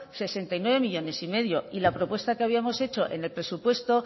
sesenta y nueve millónes y medio y la propuesta que habíamos hecho en el presupuesto